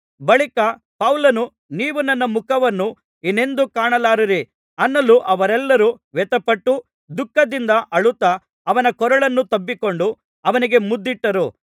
ಬಳಿಕ ಪೌಲನು ನೀವು ನನ್ನ ಮುಖವನ್ನು ಇನ್ನೆಂದೂ ಕಾಣಲಾರಿರಿ ಅನ್ನಲು ಅವರೆಲ್ಲರು ವ್ಯಥೆಪಟ್ಟು ದುಃಖದಿಂದ ಅಳುತ್ತಾ ಅವನ ಕೊರಳನ್ನು ತಬ್ಬಿಕೊಂಡು ಅವನಿಗೆ ಮುದ್ದಿಟ್ಟರು